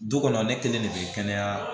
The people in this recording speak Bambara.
Du kɔnɔ ne kelen de bɛ kɛnɛya